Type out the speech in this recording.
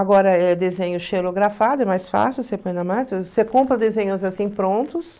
Agora é desenho xerografado, é mais fácil, você põe na você compra desenhos assim prontos.